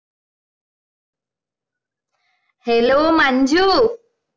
Hello Manju